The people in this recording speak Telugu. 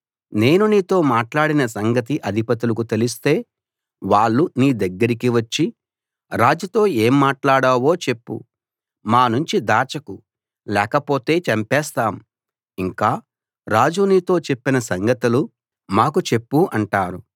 నేను నీతో మాట్లాడిన సంగతి అధిపతులకు తెలిస్తే వాళ్ళు నీ దగ్గరికి వచ్చి రాజుతో ఏం మాట్లాడావో చెప్పు మానుంచి దాచకు లేకపోతే చంపేస్తాం ఇంకా రాజు నీతో చెప్పిన సంగతులు మాకు చెప్పు అంటారు